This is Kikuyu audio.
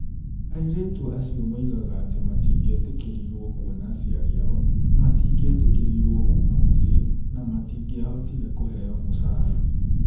Airĩtu acio moigaga atĩ matingĩetĩkĩrirũo kuona aciari ao, matingĩetĩkĩrirũo kuuma mũciĩ, na matingĩahotire kũheo mũcara.